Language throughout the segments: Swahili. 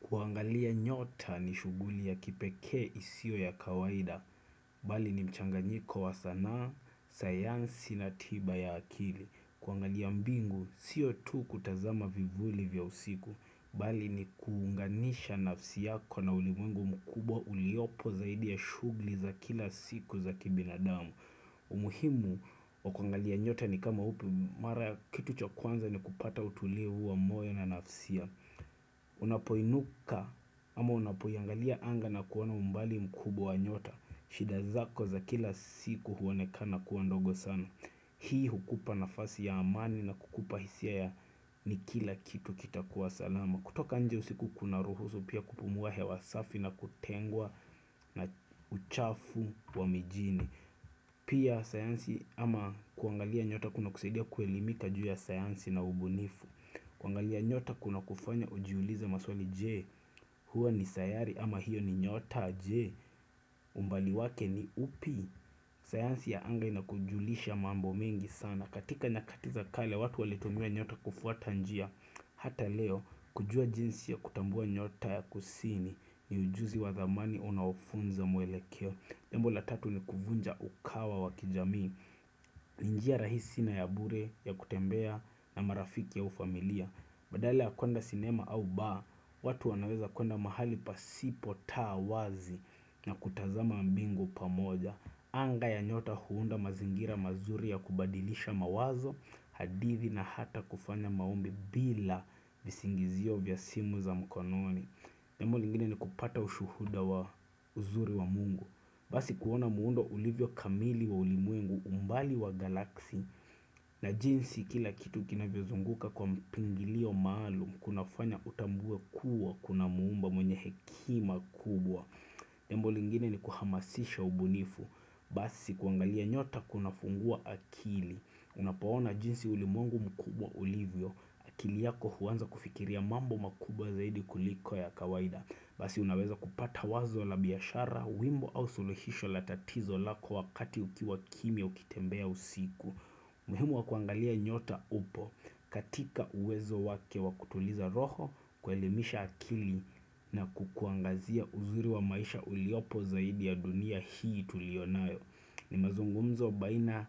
Kuangalia nyota ni shughuli ya kipekee isiyo ya kawaida, bali ni mchanganyiko wa sanaa, sayansi na tiba ya akili. Kuangalia mbingu, sio tu kutazama vivuli vya usiku, bali ni kuunganisha nafsi yako na ulimwengu mkubwa uliopo zaidi ya shughuli za kila siku za kibinadamu. Umuhimu wa kuangalia nyota ni kama upi mara ya kitu cha kwanza ni kupata utulivu wa moyo na nafsi ya. Unapoinuka ama unapoiangalia anga na kuona umbali mkubwa wa nyota shida zako za kila siku huonekana kua ndogo sana Hii hukupa nafasi ya amani na kukupa hisia ya ni kila kitu kita kuwa salama kutoka nje usiku kuna ruhusu pia kupumuwa hewa safi na kutengwa na uchafu wa mijini Pia sayansi ama kuangalia nyota kuna kuseidia kuelimika juu ya sayansi na ubunifu kuangalia nyota kuna kufanya ujiuliza maswali jee huwa ni sayari ama hiyo ni nyota jee umbali wake ni upi sayansi ya anga inakujulisha mambo mengi sana katika nyakati za kale watu walitumia nyota kufuata njia Hata leo kujua jinsi ya kutambua nyota ya kusini ni ujuzi wa zamani unao funza muelekeo lengo la tatu ni kuvunja ukawa wa kijamii ni njia rahisi na ya bure ya kutembea na marafiki au familia Badala ya kuanda sinema au baa, watu wanaweza kwenda mahali pasipo taa wazi na kutazama mbingu pamoja. Anga ya nyota huunda mazingira mazuri ya kubadilisha mawazo, hadithi na hata kufanya maombi bila visingizio vya simu za mkononi. Jambo lingine ni kupata ushuhuda wa uzuri wa mungu. Basi kuona muundo ulivyo kamili wa ulimwengu umbali wa galaksi na jinsi kila kitu kinavyozunguka kwa mpangilio maalum kunafanya utambu kuwa kuna muumba mwenye hekima kubwa Nembo lingine ni kuhamasisha ubunifu basi kuangalia nyota kunafungua akili Unapaona jinsi ulimwengu mkubwa ulivyo akili yako huanza kufikiria mambo makubwa zaidi kuliko ya kawaida la tatizo lako wakati ukiwa kimia ukitembea usiku muhimu wa kuangalia nyota upo katika uwezo wake wa kutuliza roho kuelimisha akili na kukuangazia uzuri wa maisha uliopo zaidi ya dunia hii tulionayo ni mazungumzo baina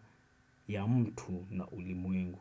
ya mtu na ulimwengu.